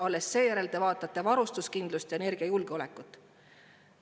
Alles seejärel te vaatate varustuskindlust ja energiajulgeolekut.